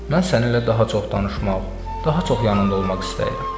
Mən səninlə daha çox danışmaq, daha çox yanında olmaq istəyirəm.